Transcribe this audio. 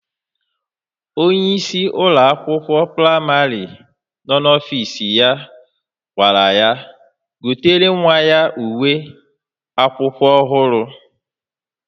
Onyeisi Ụlọ akwụkwọ praịmarị nọ n'ọfịs ya gwa ya gotere nwa ya uwe akwụkwọ ohuru.